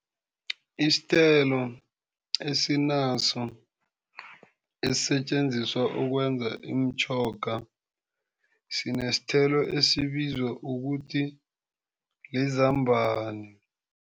Isithelo esinaso esisetjenziswa ukwenza imitjhoga sinesithelo esibizwa ukuthi lizambana.